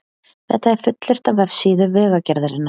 Þetta er fullyrt á vefsíðu Vegagerðarinnar